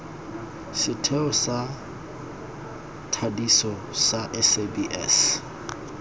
setheo sa thadiso sa sabs